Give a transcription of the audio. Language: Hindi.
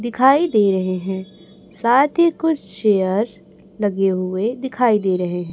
दिखाई दे रहे हैं साथ ही कुछ चेयर्स लगे हुए दिखाई दे रहे--